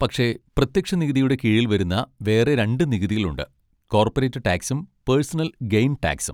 പക്ഷെ പ്രത്യക്ഷ നികുതിയുടെ കീഴിൽ വരുന്ന വേറെ രണ്ട് നികുതികളുണ്ട്, കോർപ്പറേറ്റ് ടാക്സും പേർസണൽ ഗെയ്ൻ ടാക്സും.